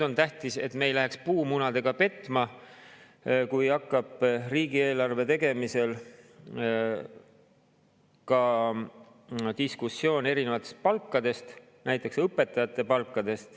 On tähtis, et me ei läheks nüüd puumunadega petma, kui hakkab riigieelarve tegemisel diskussioon erinevate palkade, näiteks õpetajate palgad.